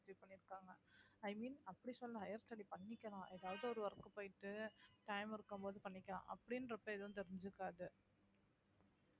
i mean அப்பிடி சொல்லல higher studies பண்ணிக்கல ஏதாவது work போயிடு time இருக்கும் போது பண்ணிக்கல அப்பிடின்றப்ப ஏதும் தெரிஞ்சிக்காது